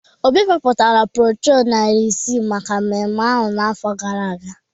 Obi ebipụtara broshọ narị ise maka mmemme ahụ n’afọ gara aga